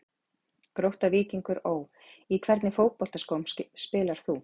Grótta-Víkingur Ó Í hvernig fótboltaskóm spilar þú?